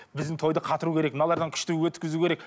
біздің тойды қатыру керек мыналардан күшті өткізу керек